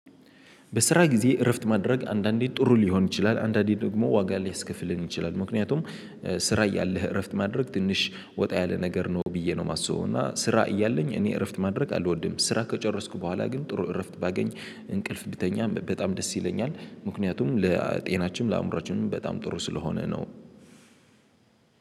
በስራ ጊዜ እረፍት ማድረግ አንዳንዴ ጥሩ ሊሆን ይችላል አንዳንዴ ደግሞ ዋጋ ሊያስከፍለን ይችላል። ምክንያቱም ስራ እያለህ እረፍት ማድረግ ትንሽ ወጣ ያለ ነገር ነው ብዬ ነው የማስበው። እና ስራ እያለኝ እኔ እረፍት ማድረግ አልወድም። ስራ ከጨረስኩ በኋላ ግን ጥሩ እረፍት ባገኝ እንቅልፍ ብተኛ በጣም ደስ ይለኛል። ምክንያቱም ለጤናችንም ለአምሮአችንም በጣም ጥሩ ስለሆነ ነው።